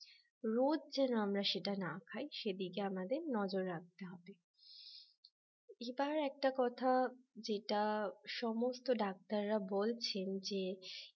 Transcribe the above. রোজ যেন আমরা সেটা না খাই সেদিকে আমাদের নজর রাখতে হবে এবার একটা কথা যেটা সমস্ত ডাক্তার রা বলছেন যে